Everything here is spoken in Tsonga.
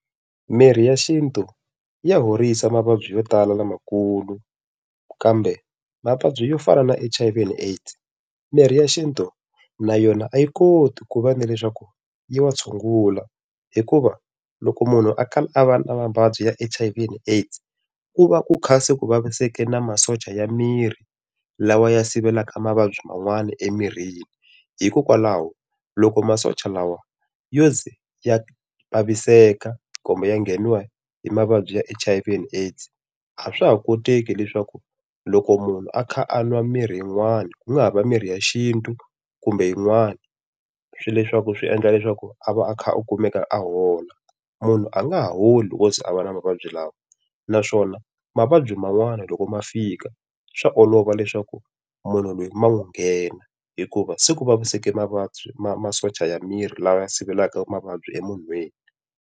Mirhi ya xintu ya horisa mavabyi yo tala lamakulu, kambe mavabyi yo fana na H_I_V and AIDS, mirhi ya xintu na yona a yi koti ku va ni leswaku yi wa tshungula hikuva loko munhu a kala a va na mavabyi ya H_I_V and AIDS, ku va ku kha se ku vaviseke na masocha ya miri lawa ya sivelaka mavabyi man'wana emirini. Hikokwalaho loko masocha lawa yo ze ya vaviseka kumbe ya ngheniwa hi mavabyi ya H_I_V and AIDS a swa ha koteki leswaku loko munhu a kha a nwa mirhi yin'wana, ku nga ha va mirhi ya xintu kumbe yin'wani, swi leswaku swi endla leswaku a va a kha a kumeka a hola. Munhu a nga ha holi loko o ze a va na mavabyi lawa. Naswona mavabyi man'wana loko ma fika, swa olova leswaku munhu loyi ma n'wi nghena, hikuva se ku vaviseke mavabyi masocha ya miri lawa ya sivelaka mavabyi emunhwini.